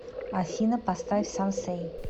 афина поставь сансэй